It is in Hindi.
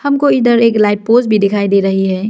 हमको इधर एक लाइट पोल्स भी दिखाई दे रही है।